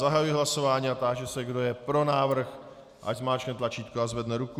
Zahajuji hlasování a táži se, kdo je pro návrh, ať zmáčkne tlačítko a zvedne ruku.